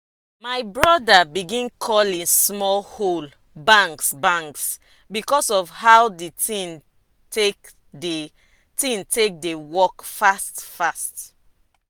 my broda begin call e small hoe "bangs bangs" because of how the thing take dey thing take dey work fast fast.